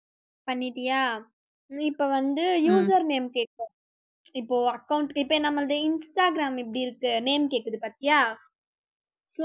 பண்ணிட்டியா? நீ இப்ப வந்து user name கேக்கும். இப்போ account இப்ப நம்மளுது instagram எப்படி இருக்கு name கேக்குது பாத்தியா so